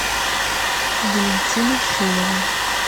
валентина шилова